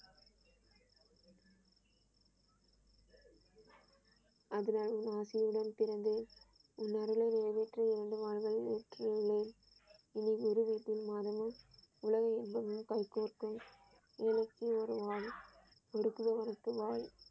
அதன் ஆசியுடன் பிறந்த மகனை நியமித்து இரண்டு வாருகள் வெற்றி அடைந்தேன் இனி குருவாய்ப்பின் மாதமும் உலகம் எப்போதும் கைகோர்க்கும ஒரு குலவனுக்கு வாள்.